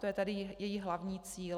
To je tedy její hlavní cíl.